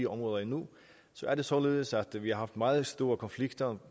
områder endnu så er det således at vi har haft meget store konflikter